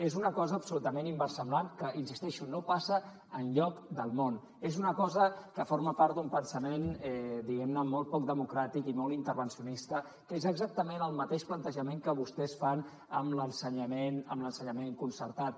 és una cosa absolutament inversemblant que hi insisteixo no passa enlloc del món és una cosa que forma part d’un pensament diguem ne molt poc democràtic i molt intervencionista que és exactament el mateix plantejament que vostès fan amb l’ensenyament concertat